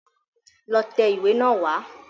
Lọ tẹ ìwé náà wá.